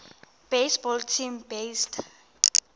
baseball team based